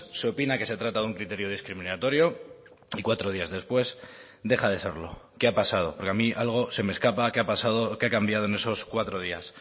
se opina que se trata de un criterio discriminatorio y cuatro días después deja de serlo qué ha pasado porque a mí algo se me escapa qué ha pasado o qué ha cambiado en esos cuatro días